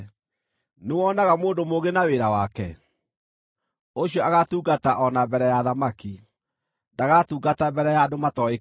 Nĩwonaga mũndũ mũũgĩ na wĩra wake? Ũcio agatungata o na mbere ya athamaki; ndagatungata mbere ya andũ matooĩkaine.